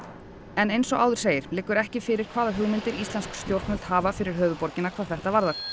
en eins og áður segir liggur ekki fyrir hvaða hugmyndir íslensk stjórnvöld hafa fyrir höfuðborgina hvað þetta varðar